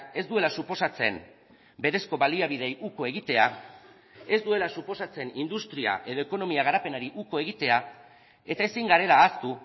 ez duela suposatzen berezko baliabideei uko egitea ez duela suposatzen industria edo ekonomia garapenari uko egitea eta ezin garela ahaztu